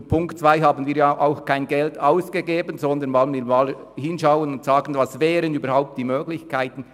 Wir geben damit kein Geld aus, sondern untersuchen, welche Möglichkeiten überhaupt infrage kämen.